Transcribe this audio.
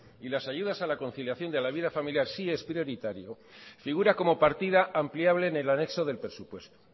y las ayudas a la conciliación y la vida familiar sí es prioritario figura como partida ampliable en el anexo del presupuesto